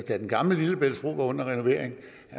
den gamle lillebæltsbro var under renovering